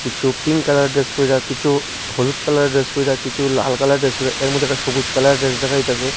কিছু pink colour dress পইরা কিছু হলুদ কালার ড্রেস পইরা কিছু লাল কালার ড্রেস পইরা এর মধ্যে একটা সবুজ কালারের ড্রেস দেখা যাইতাছে।